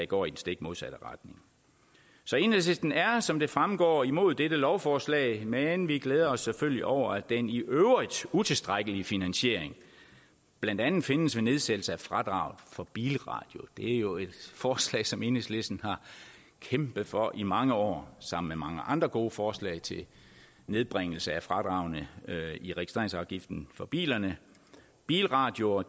går i den stik modsatte retning så enhedslisten er som det fremgår imod dette lovforslag men vi glæder os selvfølgelig over at den i øvrigt utilstrækkelige finansiering blandt andet findes ved nedsættelse af fradraget for bilradio det er jo et forslag som enhedslisten har kæmpet for i mange år sammen med mange andre gode forslag til nedbringelse af fradragene i registreringsafgiften for bilerne bilradioer